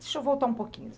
Deixa eu voltar um pouquinho.